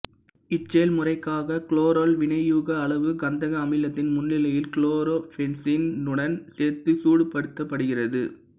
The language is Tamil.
இச்செயல்முறைக்காக குளோரால் வினையூக்க அளவு கந்தக அமிலத்தின் முன்னிலையில் குளோரோபென்சீனுடன் சேர்த்து சூடுபடுத்தப்படுகிறது